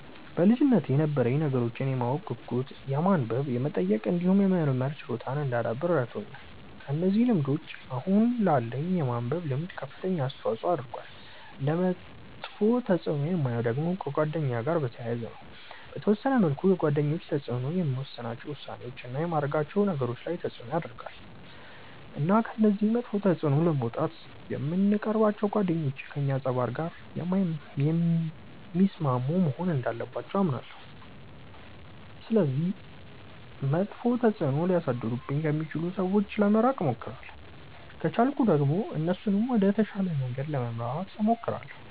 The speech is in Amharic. በልጅነቴ የነበረኝ ነገሮችን የማወቅ ጉጉት የማንበብ የመጠየቅ እንዲሁም የመመርመር ችሎታን እንዳዳብር ረድቶኛል። እነዚህ ልምዶች አሁን ላለኝ የማንበብ ልምድ ከፍተኛ አስተዋጽዖ አድርገዋል። እንደ መጥፎ ተፅእኖ የማየው ደግሞ ከጓደኛ ጋር በተያያዘ ነው። በተወሰነ መልኩ የጓደኞች ተጽእኖ የምወስናቸው ውሳኔዎች፣ እና የማደርጋቸው ነገሮች ላይ ተጽእኖ ያረጋል። እና ከዚህ መጥፎ ተጽእኖ ለመውጣት የምንቀርባቸው ጓደኞች ከእኛ ፀባይ ጋር የሚስማሙ መሆን እንዳለባቸው አምናለሁ። ስለዚህ መጥፎ ተጽእኖ ሊያሳድሩብኝ ከሚችሉ ሰዎች ለመራቅ እሞክራለሁ። ከቻልኩ ደግሞ እነሱንም ወደ ተሻለ መንገድ ለመምራት እሞክራለሁ።